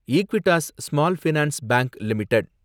Equitas small finance bank limited